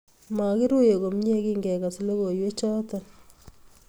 Mokiruiye komie kingekas logoiwechoto